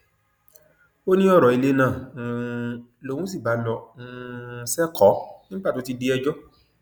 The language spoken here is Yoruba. ó ní ọrọ ilé náà um lòun sì bá lọ um sẹkọọ nígbà tó ti di ẹjọ